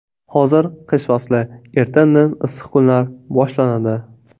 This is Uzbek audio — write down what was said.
Hozir qish fasli, erta-indin issiq kunlar boshlanadi.